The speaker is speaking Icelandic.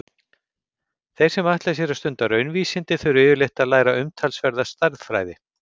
Þeir sem ætla sér að stunda raunvísindi þurfa yfirleitt að læra umtalsverða stærðfræði.